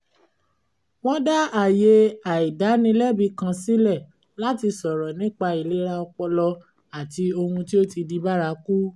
wọ́n dá àyè àìdánilẹ́bi kan sílẹ̀ láti sọ̀rọ̀ nípa ìlera ọpọlọ àti ohun tí ó ti di bárakú